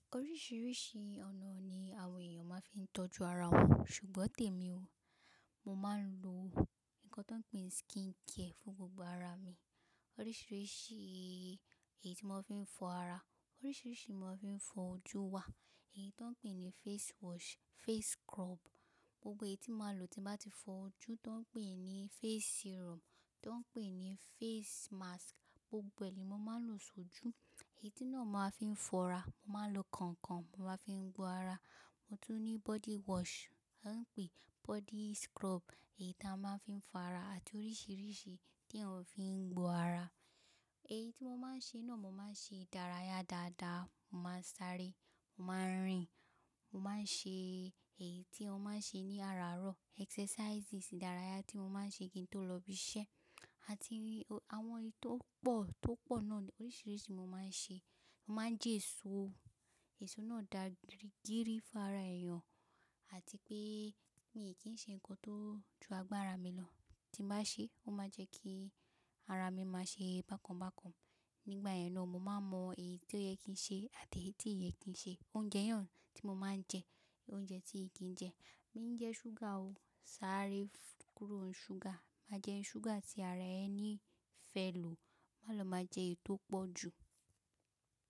Oríṣiríṣi ọ̀nà ni àwọn èèyàn máa ń fi tọ́jú ara wọn, ṣùgbọ́n tèmi o, mo máa ń lo nǹkan tó ń pín skincare fún gbogbo ara mi. Oríṣiríṣi èyí tí mo fi ń fọ ara, oríṣiríṣi èyí tí mo fi ń fọ ojú wà. Èyí tó ń pín ní face wash, face scrub, gbogbo èyí tí màá lò tí màá ti fọ ojú, tó ń pín ní face serum, tó ń pín ní face mask, gbogbo ẹ̀ ni mo máa ń lò sójú. Èyí náà ni màá fi ń fọ́ ara, mo máa ń lo kànkàn, màá fi ń gbo ara. Mo tún ní body wash, a ń pè body scrub, èyí tí a máa ń fi ń fa ara àti oríṣiríṣi tí a fi ń gbo ara. Èyí tí mo máa ń ṣe náà, mo máa ń ṣe ìdárayá dáadáa, mo máa ń sáré, mo máa ń rìn, mo máa ń ṣe èyí tí a máa ń ṣe ní àràárọ̀, exercises ìdárayá tí mo máa ń ṣe kí n tó lọ ibi iṣẹ́. Àti àwọn èyí tó pọ̀, tó pọ̀ náà ni oríṣiríṣi mo máa ń ṣe. Mo máa ń jẹ èso, èso náà dàgìrìgìrì fún ara èèyàn àti pé mi ò kí ń ṣe nǹkan tó ju agbára mi lọ. Tí màá ṣe, ó máa jẹ́ kí ara mi máa ṣe bákan bákan. Nígbà náà ni mo máa mọ èyí tó yẹ kí n ṣe àti èyí tí kò yẹ kí n ṣe. Oúnjẹ mìíràn tí mo máa ń jẹ, oúnjẹ tí ì kí n jẹ. Bí mo bá jẹ súgà o, sáré kúrò ní súgà. Má jẹ súgà tí ara ẹni fẹ́ lò, má lọ máa jẹ èyí tó pọ̀ jù.